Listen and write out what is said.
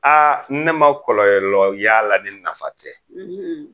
Aa ne ma kɔlɔlɔ y'a la ni nafa tɛ